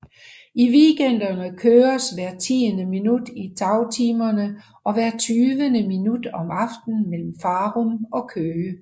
I weekenderne køres hvert tiende minut i dagtimerne og hvert tyvende minut om aftenen mellem Farum og Køge